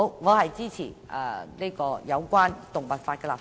我支持就維護動物權益立法。